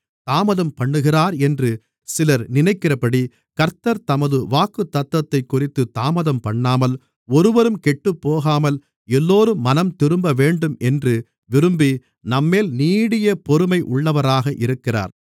தாமதம் பண்ணுகிறார் என்று சிலர் நினைக்கிறபடி கர்த்தர் தமது வாக்குத்தத்தத்தைக்குறித்துத் தாமதம்பண்ணாமல் ஒருவரும் கெட்டுப்போகாமல் எல்லோரும் மனம்திரும்பவேண்டும் என்று விரும்பி நம்மேல் நீடியபொறுமை உள்ளவராக இருக்கிறார்